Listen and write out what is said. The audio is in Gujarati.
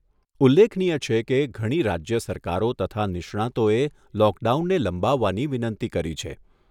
ઉલ્લેખનીય છે કે, ઘણી રાજ્ય સરકારો તથા નિષ્ણાંતોએ લોકડાઉનને લંબાવવાની વિનંતી કરી છે.